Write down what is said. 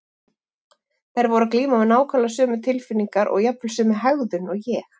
Þær voru að glíma við nákvæmlega sömu tilfinningar og jafnvel sömu hegðun og ég.